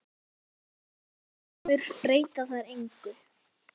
Og þegar heim kemur breyta þær engu.